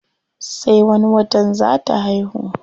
Sai wani watan zaa ta haihu.